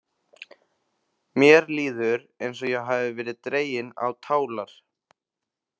Mér líður eins og ég hafi verið dregin á tálar.